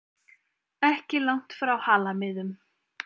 Ekki langt frá Halamiðum.